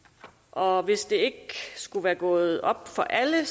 og hvis det ikke skulle være gået op for alle